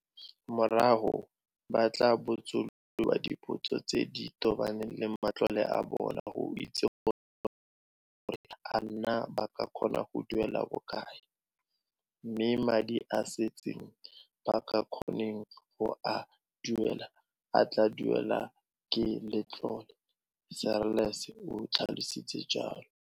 "Morago ba tla botsolodiwa dipotso tse di tobaneng le matlole a bona go itse gore a naa ba ka kgona go duela bokae, mme madi a a setseng a ba sa kgoneng go a duela a tla duelwa ke letlole," Seirlis o tlhalositse jalo.